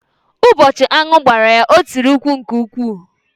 Ụbọchị aṅụ gbara ya, o tìrì mkpu nke ukwuu.